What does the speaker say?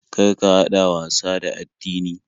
Kar ka haɗa wasa da addini.